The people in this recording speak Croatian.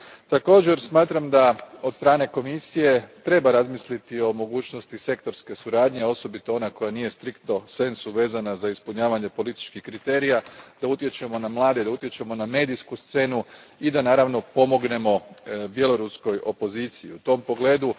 Također, smatram da Komisija treba razmisliti o mogućnosti sektorske suradnje, osobito one koja nije stricto sensu vezana za ispunjavanje političkih kriterija, o tome da utječemo na mlade, da utječemo na medijsku scenu i da naravno pomognemo bjelaruskoj opoziciji u tom pogledu.